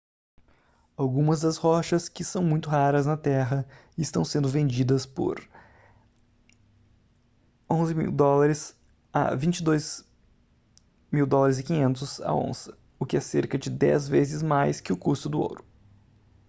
algumas das rochas que são muito raras na terra estão sendo vendidas por us$ 11.000 a us$ 22.500 a onça o que é cerca de 10 vezes mais que o custo do ouro